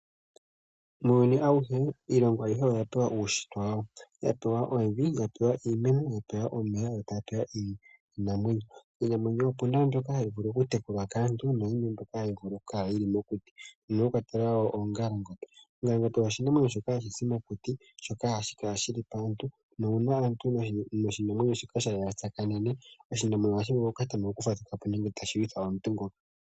Muuyuni awuhe, iilongo ayihe oya pewa uunshitwe, ya pewa evi, ya pewa iimeno, yo tayi pewa iinamwenyo. Iinamwenyo opu na mbyoka hayi vulu oku tekulwa kaantu, puna mbyoka hayi vulu oku kala wo mokuti. Pu na ongalangombe. Oongalangombe oshinamwenyo shika hashi zi mokuti, ihaashi kala mpoka pu na aantu, nuuna oshinamwenyo shika sha tsanene naantu, oshinamwenyo shika ohashi vulu oku fadhuka po nenge shi kale tashilwitha aantu.